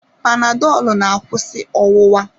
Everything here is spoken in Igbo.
Panadolu na-akwụsị ọwụwa.